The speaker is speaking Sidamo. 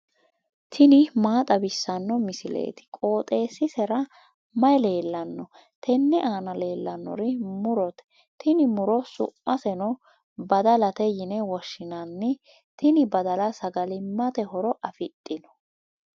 tini maa xawissanno misileeti? qooxeessisera may leellanno? tenne aana leellannori murote. tini muro sa'maseno badalate yine woshshinanni tini badala sagalimmate horo afidhino.